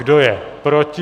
Kdo je proti?